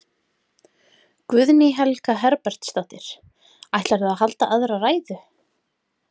Guðný Helga Herbertsdóttir: Ætlarðu að halda aðra ræðu?